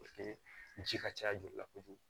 ji ka ca joli la kojugu